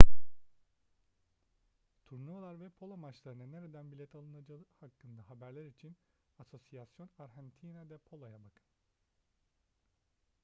turnuvalar ve polo maçlarına nereden bilet alınacağı hakkındaki haberler için asociacion argentina de polo'ya bakın